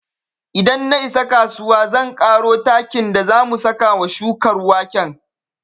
Idan na isa kasuwa zan ƙaro takin da za mu saka wa shukar waken